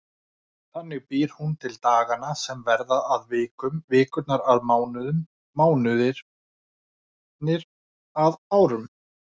Þannig býr hún til dagana sem verða að vikum, vikurnar að mánuðum, mánuðirnir að árum.